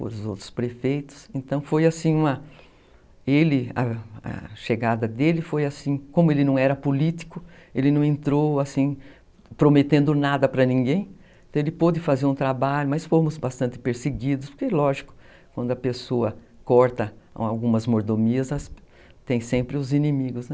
os outros prefeitos, então foi assim, ele, uma, a chegada dele foi assim, como ele não era político, ele não entrou assim prometendo nada para ninguém, então ele pôde fazer um trabalho, mas fomos bastante perseguidos, porque lógico, quando a pessoa corta algumas mordomias, tem sempre os inimigos, né?